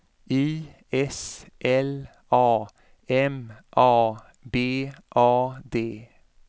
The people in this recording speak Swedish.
I S L A M A B A D